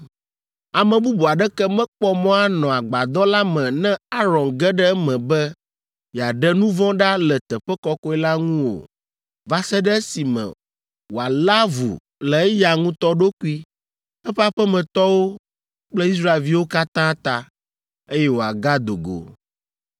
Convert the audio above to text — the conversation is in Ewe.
Ame bubu aɖeke mekpɔ mɔ anɔ Agbadɔ la me ne Aron ge ɖe eme be yeaɖe nu vɔ̃ ɖa le Teƒe Kɔkɔe la ŋu o va se ɖe esime wòalé avu le eya ŋutɔ ɖokui, eƒe aƒemetɔwo kple Israelviwo katã ta, eye wòagado go.